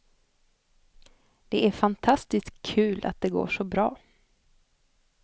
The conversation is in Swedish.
Det är fantastiskt kul att det går så bra.